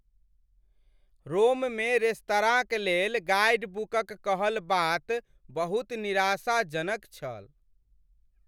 रोममे रेस्तराँक लेल गाइडबुकक कहल बात बहुत निराशाजनक छल ।